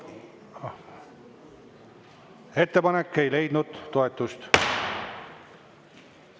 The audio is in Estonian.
Ettepanek ei leidnud toetust.